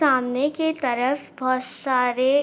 सामने के तरफ बोहोत सारे--